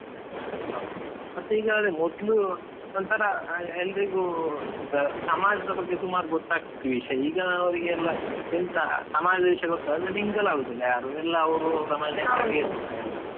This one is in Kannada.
ಹಾ, ಮತ್ತೆ ಈಗ ಅದೇ ಮೊದ್ಲು ಒಂತರಾ ಎಲ್ರಿಗೂ ಎಂತ ಸಮಾಜದ ಬಗ್ಗೆ ಸುಮಾರ್ ಗೊತ್ ಆಗ್ತಾ ಇತ್ತು ವಿಷಯ, ಈಗ ಅವ್ರಿಗೆ ಎಲ್ಲಾ ಎಂತ ಸಮಾಜದ ವಿಷ್ಯ ಗೊತ್ ಅಂದ್ರೆ mingle ಆಗುದಿಲ್ಲ ಯಾರು ಎಲ್ಲಾ ಅವ್ರು ಅವ್ರ ಮನೆ ಇರ್ತಾರೆ ಎಲ್ಲಾ.